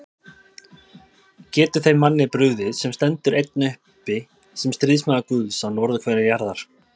Getur þeim manni brugðið, sem stendur einn uppi sem stríðsmaður Guðs á norðurhveli jarðar?